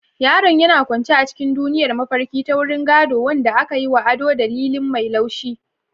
Yaron yana kwance a cikin duniyar mafarki ta wurin gado, wanda aka yi wa ado da lilin mai laushi.